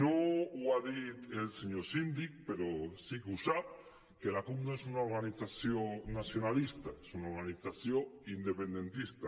no ho ha dit el senyor síndic però sí que ho sap que la cup no és una organització nacionalista és una organització independentista